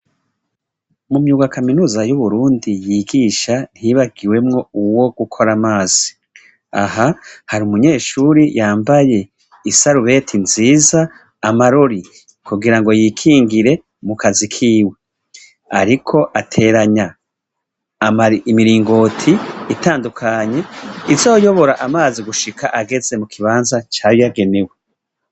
Mu myuga kaminuza y'i Burundi yigisha, ntiyibagiwemwo uwo gukora amazi, aha hari umunyeshure yambaye isarubeti nziza, amarori kugirango yikingire mu kazi kiwe, ariko ateranya imiringoti itandukanye, izoyobora amazi gushika mu kibanza cayagenewe.